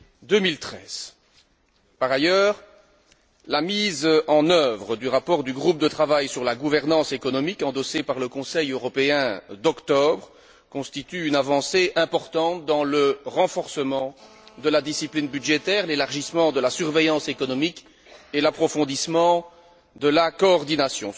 2013. Par ailleurs, la mise en œuvre du rapport du groupe de travail sur la gouvernance économique endossé par le Conseil européen d'octobre constitue une avancée importante dans le renforcement de la discipline budgétaire, l'élargissement de la surveillance économique et l'approfondissement de la coordination.